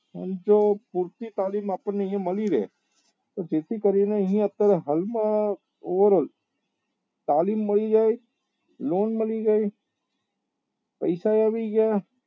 અને જો પુરતી તાલીમ આપણને અહિયાં મળી રહે તો જેથી કરી ને તાલીમ મળી જાય નોમ મળી જાય પૈસા એ આવી ગયા